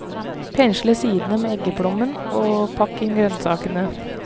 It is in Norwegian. Pensle sidene med eggeplommen og pakk inn grønnsakene.